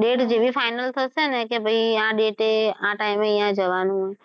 date જેવી final નહીં થયી આ date એ આ time એ અહિયાં જવાનું છે.